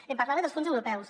em parlava dels fons europeus